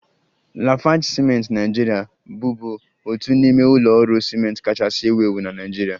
Lafarge ciment Naijiria bụbu otu n'ime ụlọ ọrụ ciment kachasị ewu ewu na Naịjirịa